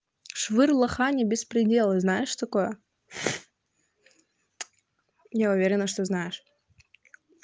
швырло хани беспредела знаешь такое я уверена что знаешь